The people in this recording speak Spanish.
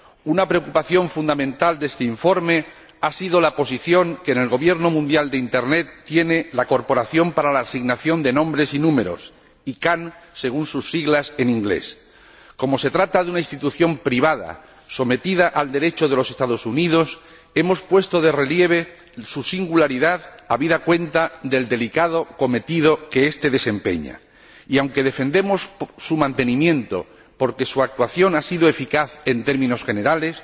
Una preocupación fundamental de este informe ha sido la posición que en el gobierno mundial de Internet tiene la Corporación de Internet para la Asignación de Nombres y Números Como se trata de una institución privada, sometida al Derecho de los Estados Unidos, hemos puesto de relieve su singularidad, habida cuenta del delicado cometido que desempeña y, aunque defendemos su mantenimiento porque su actuación ha sido eficaz en términos generales,